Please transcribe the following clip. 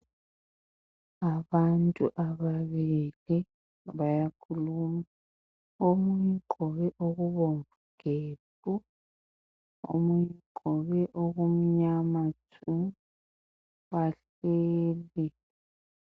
Abantu ababili bayakhuluma. Omunye ugqoke okubomvu gebhu, omunye ugqoke okumnyama tshu, babili.